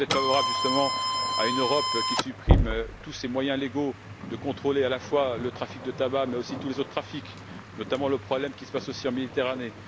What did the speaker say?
Si vous êtes favorable, justement, à une Europe qui supprime tous ses moyens légaux de contrôler à la fois le trafic de tabac mais aussi tous les autres trafics, notamment le problème qui se passe en Méditerranée...